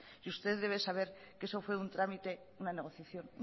y ustedes deben saber que eso fue un trámite una negociación